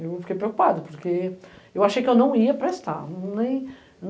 Eu fiquei preocupada, porque eu achei que eu não ia prestar, nem.